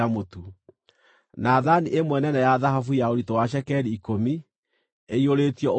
na thaani ĩmwe nene ya thahabu ya ũritũ wa cekeri ikũmi, ĩiyũrĩtio ũbumba;